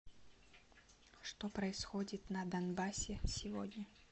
что происходит на донбассе сегодня